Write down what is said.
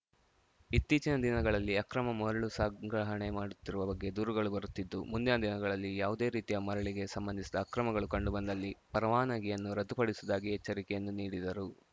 ಇತ್ತೀಚಿನ ದಿನಗಳಲ್ಲಿ ಅಕ್ರಮ ಮರಳು ಸಂಗ್ರಹಣೆ ಮಾಡುತ್ತಿರುವ ಬಗ್ಗೆ ದೂರುಗಳು ಬರುತ್ತಿದ್ದು ಮುಂದಿನ ದಿನಗಳಲ್ಲಿ ಯಾವುದೇ ರೀತಿಯ ಮರಳಿಗೆ ಸಂಬಂಧಿಸಿದ ಅಕ್ರಮಗಳು ಕಂಡುಬಂದಲ್ಲಿ ಪರವಾನಗಿಯನ್ನು ರದ್ದುಪಡಿಸುವುದಾಗಿ ಎಚ್ಚರಿಕೆಯನ್ನು ನೀಡಿದರು